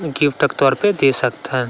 Gift के तौर पे दे सकथन।